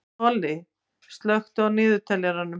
Tolli, slökktu á niðurteljaranum.